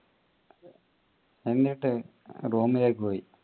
എന്നിട്ട് room ലേക്ക് പോയി